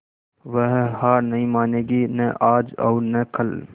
वह हार नहीं मानेगी न आज और न कल